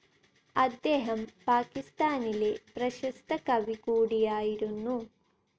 അദ്ദേഹം പാകിസ്താനിലെ പ്രശസ്ത കവി കൂടിയായിരുന്നു.